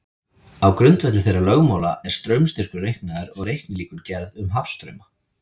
Á grundvelli þeirra lögmála er straumstyrkur reiknaður og reiknilíkön gerð um hafstrauma.